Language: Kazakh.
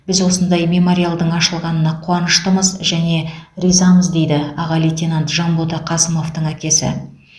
біз осындай мемориалдың ашылғанына қуаныштымыз және ризамыз деді аға лейтенант жанбота қасымовтың әкесі